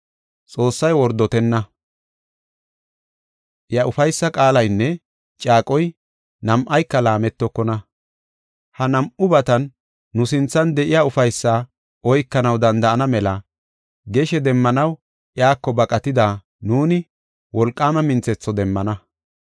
Xoossay wordotenna. Iya ufaysa qaalaynne caaqoy, nam7ayka laametokona. Ha nam7ubatan nu sinthan de7iya ufaysaa oykanaw danda7ana mela geshe demmanaw iyako baqatida nuuni, wolqaama minthetho demmana.